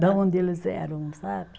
De onde eles eram, sabe?